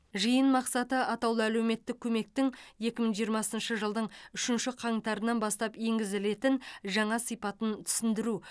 жиын мақсаты атаулы әлеуметтік көмектің екі мың жиырмасыншы жылдың үшінші қаңтарынан бастап енгізілетін жаңа сипатын түсіндіру